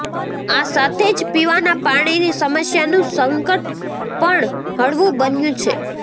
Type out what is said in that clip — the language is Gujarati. આ સાથે જ પીવાના પાણીની સમસ્યાનું સંકટ પણ હળવું બન્યું છે